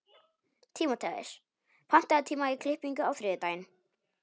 Tímóteus, pantaðu tíma í klippingu á þriðjudaginn.